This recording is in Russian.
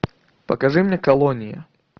покажи мне колонии